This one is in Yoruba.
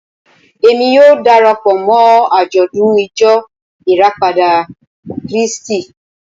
Èmi yóò dara pọ̀ mọ́ àjọ̀dún Ìjọ Ìràpadà Kírísítì